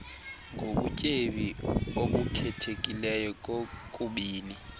ngobutyebi obukhethekileyo kokubini